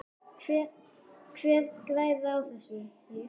Hver græðir á þessu?